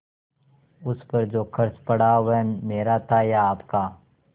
उस पर जो खर्च पड़ा वह मेरा था या आपका